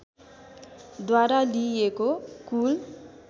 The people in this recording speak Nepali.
द्वारा लिइएको कुल